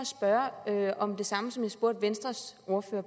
spørge om det samme som jeg spurgte venstres ordfører